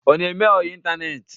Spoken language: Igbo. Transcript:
Ọ na-eme ọyị ịtaneetị?